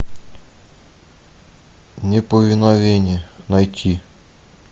неповиновение найти